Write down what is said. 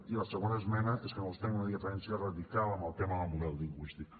i a la segona esmena és que nosaltres tenim una diferència radical en el tema del model lingüístic